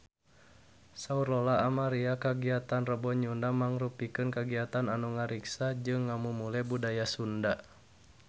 Saur Lola Amaria kagiatan Rebo Nyunda mangrupikeun kagiatan anu ngariksa jeung ngamumule budaya Sunda